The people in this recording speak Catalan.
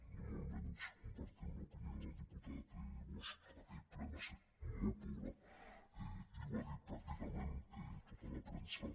ni molt menys compartim l’opinió del diputat bosch aquell ple va ser molt pobre i ho va dir pràcticament tota la premsa